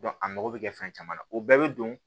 a mago bɛ kɛ fɛn caman na o bɛɛ bɛ don